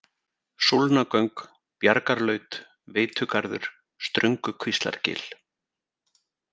Súlnagöng, Bjargarlaut, Veitugarður, Ströngukvíslargil